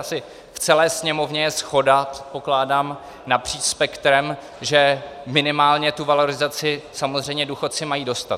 Asi v celé Sněmovně je shoda, předpokládám, napříč spektrem, že minimálně tu valorizaci samozřejmě důchodci mají dostat.